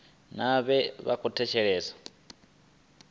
nae vha tshi khou thetshelesa